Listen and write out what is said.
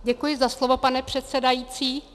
Děkuji za slovo, pane předsedající.